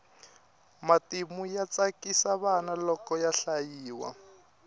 matimu ya tsakisa vana loko ya hlayiwa